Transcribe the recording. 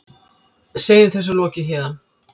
Segjum þessu lokið héðan.